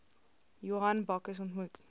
johan bakkes ontmoet